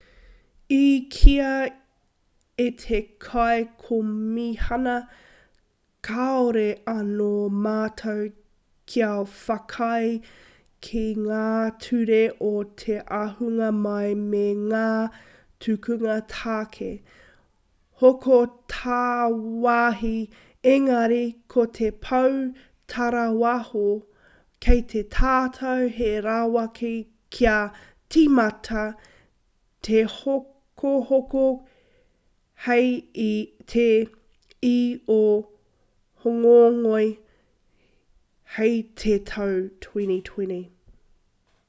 i kīia e te kaikomihana kāore anō mātou kia whakaae ki ngā ture o te ahunga mai me ngā tukunga tāke hoko tāwāhi engari ko te pou tarāwaho kei a tātou he rawaka kia tīmata tehokohoko hei te 1 o hōngongoi hei te tau 2020